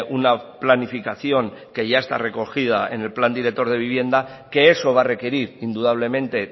una planificación que ya está recogida en el plan director de vivienda que eso va a requerir indudablemente